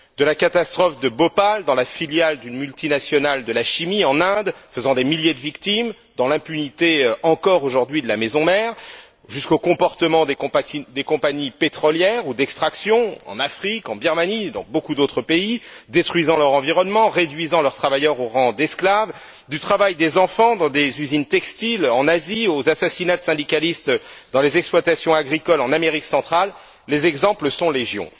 De la catastrophe de Bhopal, dans la filiale d'une multinationale de la chimie en Inde, faisant des milliers de victimes, dans l'impunité encore aujourd'hui de la maison mère, jusqu'au comportement des compagnies pétrolières ou d'extraction en Afrique, en Birmanie, dans beaucoup d'autres pays, détruisant leur environnement, réduisant leurs travailleurs au rang d'esclaves, du travail des enfants dans des usines textiles en Asie aux assassinats de syndicalistes dans les exploitations agricoles en Amérique centrale, les exemples sont légion.